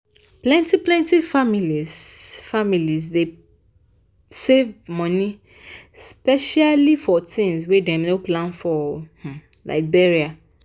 plenty-plenty families families dey save money specially-specially for tins wey dem no plan for like burial.